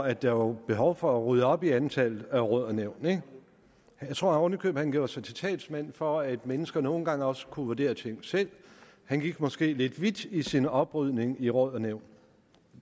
at der var behov for at rydde op i antallet af råd og nævn jeg tror oven i købet han gjorde sig til talsmand for at mennesker nogle gange også kunne vurdere ting selv han gik måske lidt vidt i sin oprydning i råd og nævn